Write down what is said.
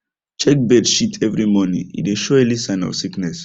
check bird shit every morning e dey show early sign of sickness